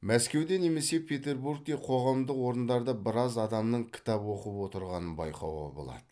мәскеуде немесе петербургте қоғамдық орындарда біраз адамның кітап оқып отырғанын байқауға болады